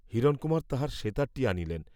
হিরণকুমার তাঁহার সেতারটি আনিলেন।